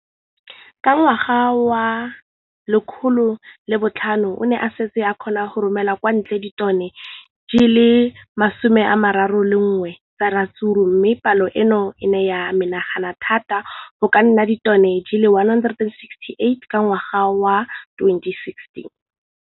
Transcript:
Ka ngwaga wa 2015, o ne a setse a kgona go romela kwa ntle ditone di le 31 tsa ratsuru mme palo eno e ne ya menagana thata go ka nna ditone di le 168 ka ngwaga wa 2016.